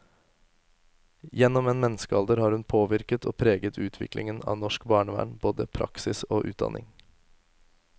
Gjennom en menneskealder har hun påvirket og preget utviklingen av norsk barnevern, både praksis og utdanning.